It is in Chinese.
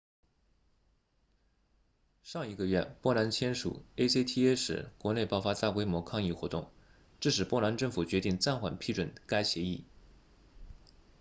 上一个月波兰签署 acta 时国内爆发大规模抗议活动致使波兰政府决定暂缓批准该协议